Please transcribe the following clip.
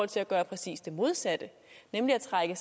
til at gøre præcis det modsatte nemlig at trække